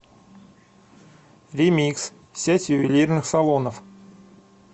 ремикс сеть ювелирных салонов